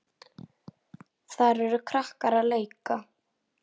Þar eru krakkar að leika.